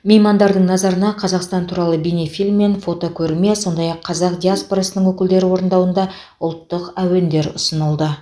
меймандардың назарына қазақстан туралы бейнефильм мен фотокөрме сондай ақ қазақ диаспорасының өкілдері орындауында ұлттық әуендер ұсынылды